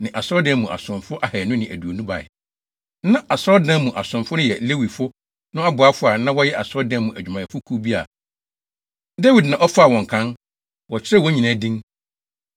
ne asɔredan no mu asomfo ahannu ne aduonu bae. Na asɔredan mu asomfo no yɛ Lewifo no aboafo a na wɔyɛ asɔredan mu adwumayɛfo kuw bi a Dawid na ɔfaa wɔn kan. Wɔkyerɛw wɔn nyinaa din.